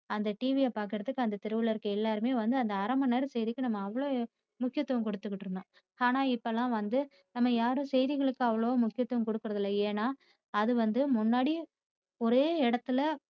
அந்த TV யை பாக்கிறதுக்கு அந்த தெருல இருக்கிற எல்லாருமே வந்து அந்த அரை மணி செய்திக்கு நம்ம அவளோ முக்கியத்துவம் கொடுத்திட்டிருந்ததோம் ஆனா இப்போ எல்லாம் வந்து நாம யாரும் செய்திகளுக்கு அவளவா முக்கியத்துவம் கொடுக்கிறதில்ல ஏன்னா அது வந்து முன்னாடி ஒரே இடத்தில